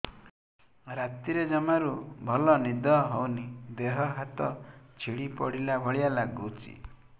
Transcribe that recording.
ରାତିରେ ଜମାରୁ ଭଲ ନିଦ ହଉନି ଦେହ ହାତ ଛିଡି ପଡିଲା ଭଳିଆ ଲାଗୁଚି